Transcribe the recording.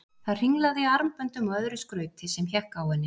Það hringlaði í armböndum og öðru skrauti sem hékk á henni.